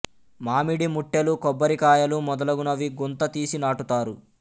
మామిడి ముట్టెలు కొబ్బరి కాయలు మొదలగునవి గుంత తీసి నాటుతారు